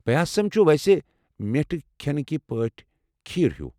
پیاسم چُھ ویسے میٹھِکۍ كھٮ۪نكہِ پٲٹھۍ کھیر ہیوٗ۔